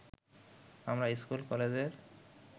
আমরা স্কুল-কলেজের